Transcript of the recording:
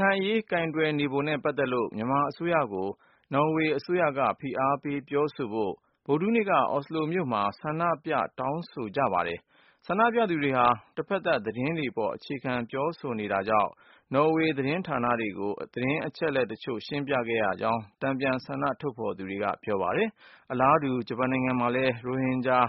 ခိုင်အရေး ကိုယ်တွယ်နေပုံနဲ့ ပတ်သက်လို့ မြန်မာအစိုးရကို နော်ဝေအစိုးရက ဖိအားပေးပြောဆိုဖို့ ဗုဒ္ဓဟူးနေ့က အော်စလိုမြို့မှာ ဆန္ဒပြ တောင်းဆိုကြ ပါတယ်။ ဆန္ဒပြသူတွေဟာ တဖက်သတ် သတင်းတွေပေါ် အခြေခံ ပြောဆိုနေတာကြောင့် နော်ဝေ သတင်းဌာနတွေကို သတင်းအချက်အလက် တချို့ရှင်းပြခဲ့ရကြောင်း တန်ပြန်ဆန္ဒ ထုတ်ဖေါ်သူတွေက ပြောပါတယ်။ အလားတူ ဂျပန်နိုင်ငံ မှာလည်း ရိုဟင်ဂျာ